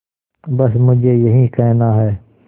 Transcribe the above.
बस मुझे यही कहना है